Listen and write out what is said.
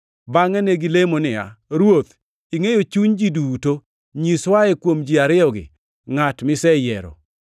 Bangʼe ne gilemo niya, “Ruoth, ingʼeyo chuny ji duto. Nyiswae kuom ji ariyogi ngʼat miseyiero